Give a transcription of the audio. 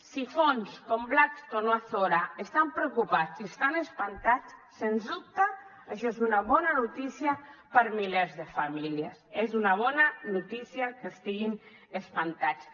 si fons com blackstone o azora estan preocupats i estan espantats sens dubte això és una bona notícia per a milers de famílies és una bona notícia que estiguin espantats